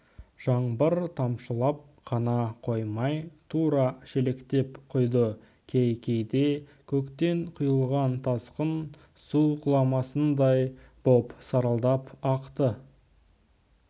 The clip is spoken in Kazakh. жаңбыр тамшылап қана қоймай тура шелектеп құйды кей-кейде көктен құйылған тасқын су құламасындай боп сарылдап ақты